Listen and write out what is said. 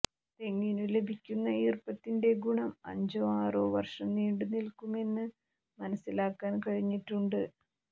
തെങ്ങിനു ലഭിക്കുന്ന ഈർപ്പത്തിന്റെ ഗുണം അഞ്ചോ ആറോ വർഷം നീണ്ടുനിൽക്കുമെന്ന് മനസ്സിലാക്കാൻ കഴിഞ്ഞിട്ടുണ്ട്